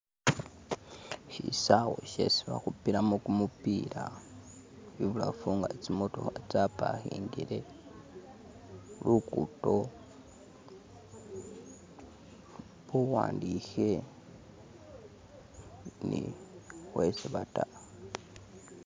Shisawa shesi bakhupilamo kumupila, i'bulafu nga tsi'motokha tsa pakingile khu lugudo khuwandikhe ni khwesibata